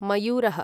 मयूरः